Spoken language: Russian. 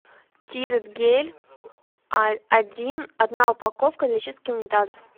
тирет гель один одна упаковка для чистки унитазов